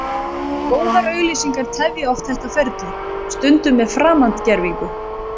Góðar auglýsingar tefja oft þetta ferli, stundum með framandgervingu.